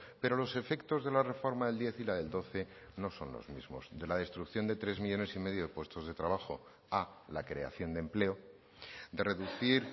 pero los efectos de la reforma del diez y la del doce no son los mismos de la destrucción de tres millónes y medio de puestos de trabajo a la creación de empleo de reducir